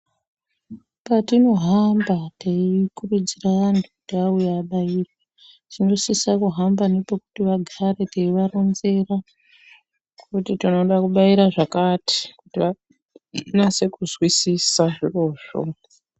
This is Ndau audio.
Patinohamba teikurudzira antu kuti vauye vabairwe, tinosisa kuhamba nepekuti vagare teivaronzera kuti tinoda kubaira zvakati, kuti vanyatse kuzwisisa zvirozvo.